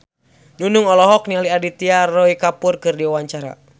Nunung olohok ningali Aditya Roy Kapoor keur diwawancara